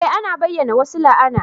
Eh ana iya bayyana wasu la'ana